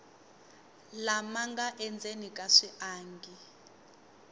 lama nga endzeni ka swiangi